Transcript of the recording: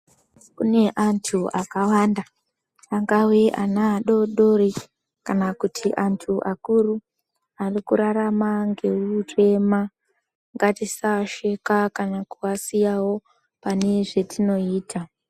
Kune antu akawanda angawe ana adori-dori kana kuti antu akuru ari kurarama ngehurema. Ngatisavasheka kana kuvasiyawo pane zvetinoita.